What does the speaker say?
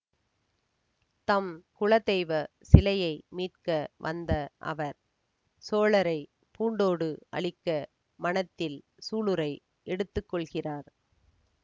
தம் குலதெய்வ சிலையை மீட்க வந்த அவர் சோழரை பூண்டோடு அழிக்க மனத்தில் சூளுரை எடுத்து கொள்கிறார்